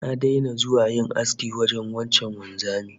Na daina zuwa yin aski wajen wancan wanzamin